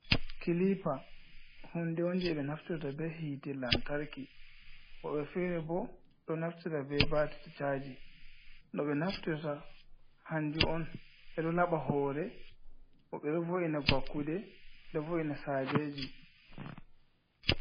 Kilipa hunde on je ɓe naftirta be hite lantarki, woɓɓe fere bo ɗo naftira be batir caji. no ɓe naftirta hanju on edo laɓa hore hoɓɓe ɗovo'ina vakkude ɗovo’ina sajeji.